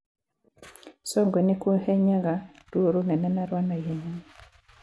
Songwe nĩ kũhenyaga ruo rũnene na rwa na ihenya.